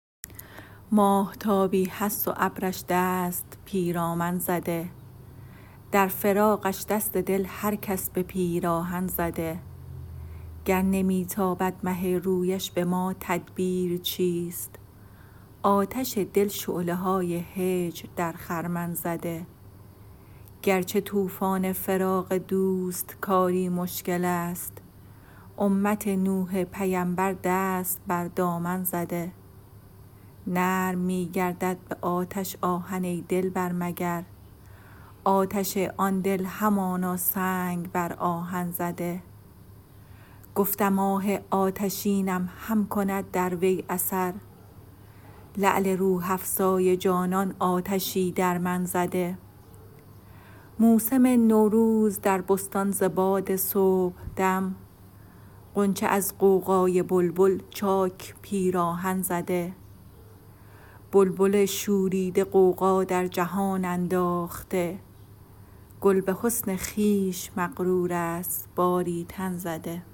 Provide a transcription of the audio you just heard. ماهتابی هست و ابرش دست پیرامن زده در فراقش دست دل هر کس به پیراهن زده گر نمی تابد مه رویش به ما تدبیر چیست آتش دل شعله های هجر در خرمن زده گر چه طوفان فراق دوست کاری مشکل است امت نوح پیمبر دست بر دامن زده نرم می گردد به آتش آهن ای دلبر مگر آتش آن دل همانا سنگ بر آهن زده گفتم آه آتشینم هم کند در وی اثر لعل روح افزای جانان آتشی در من زده موسم نوروز در بستان ز باد صبحدم غنچه از غوغای بلبل چاک پیراهن زده بلبل شوریده غوغا در جهان انداخته گل به حسن خویش مغرور است باری تن زده